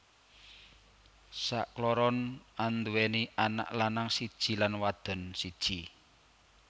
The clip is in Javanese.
Sakloron anduwèni anak lanang siji lan wadon siji